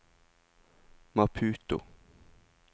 Maputo